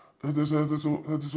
þetta er svo